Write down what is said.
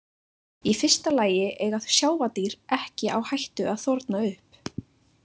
Í fyrsta lagi eiga sjávardýr ekki á hættu að þorna upp.